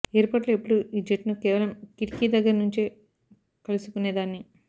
ఎయిర్పోర్టులో ఎప్పుడూ ఈ జెట్ను కేవలం కిటికి దగ్గరి నుంచే కలుసుకునే దాన్ని